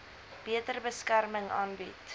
beter beskerming aanbied